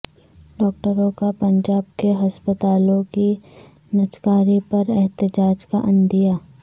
ڈاکٹروں کا پنجاب کے ہسپتالوں کی نجکاری پر احتجاج کا عندیہ